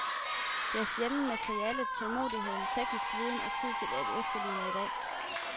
Det er der sjældent materialer, tålmodighed, teknisk viden og tid til at efterligne i dag.